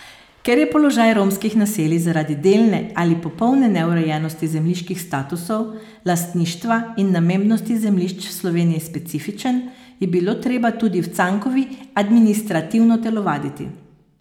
Ker je položaj romskih naselij zaradi delne ali popolne neurejenosti zemljiških statusov, lastništva in namembnosti zemljišč v Sloveniji specifičen, je bilo treba tudi v Cankovi administrativno telovaditi.